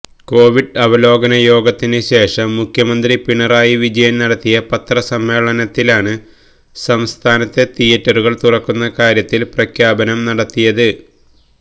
Covid അവലോകന യോഗത്തിന് ശേഷം മുഖ്യമന്ത്രി പിണറായി വിജയൻ നടത്തിയ പത്രസമ്മേളനത്തിലാണ് സംസ്ഥാനത്തെ തിയേറ്ററുകൾ തുറക്കുന്ന കാര്യത്തിൽ പ്രഖ്യാപനം നടത്തിയത്